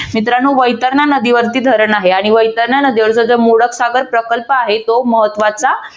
मित्रांनो वैतरणा नदीवरती धरण आहे आणि वैतरणा नदीवर जर मोडक सागर प्रकल्प आहे तो महत्वाचा